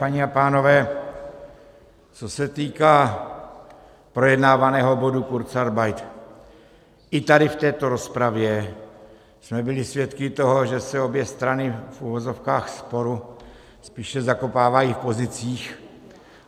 Paní a pánové, co se týká projednávaného bodu kurzarbeit, i tady, v této rozpravě, jsme byli svědky toho, že se obě strany v uvozovkách sporu spíše zakopávají v pozicích.